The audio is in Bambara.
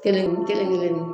kelen-kelenni